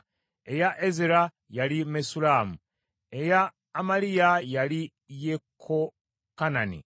eya Ezera, yali Mesullamu, eya Amaliya, yali Yekokanani;